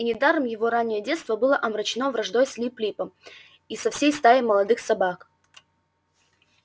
и недаром его раннее детство было омрачено враждой с лип липом и со всей стаей молодых собак